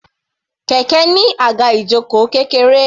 Kẹ̀kẹ́ ní àga ìjoko kékeré.